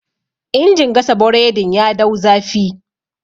injin gasa boredin ya dau zafi